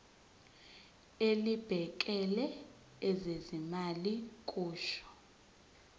elibhekele ezezimali kusho